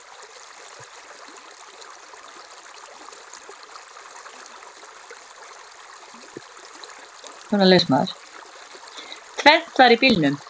Tvennt var í bílunum.